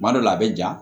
Kuma dɔ la a bɛ ja